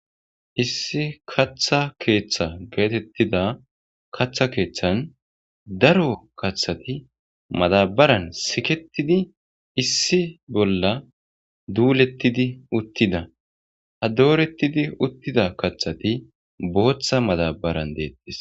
issi kaththa keeththa geetettida kaththa keeththan daro kaththati madabaran siketidi issi bolla duulettidi uttida ha doorettidi uttida kaththati booththa madabaran deettis